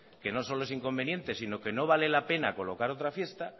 que no solo es inconveniente sino que no vale la pena colocar otra fiesta